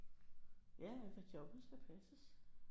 Ja ja for jobbet skal passes